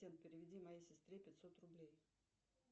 переведи моей сестре пятьсот рублей